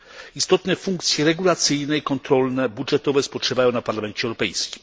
Istotne funkcje regulacyjne, kontrolne, budżetowe spoczywają na Parlamencie Europejskim.